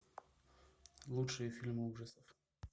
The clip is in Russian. лучшие фильмы ужасов